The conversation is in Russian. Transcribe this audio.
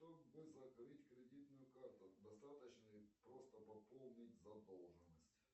что бы закрыть кредитную карту достаточно ли просто пополнить задолженность